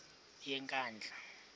yenkandla